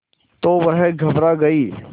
तो वह घबरा गई